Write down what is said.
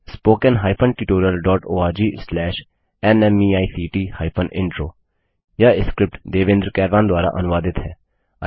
spoken hyphen tutorial dot org slash नमेक्ट hyphen intro यह script Devendra कैरवान द्वारा अनुवादित है